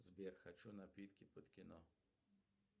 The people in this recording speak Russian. сбер хочу напитки под кино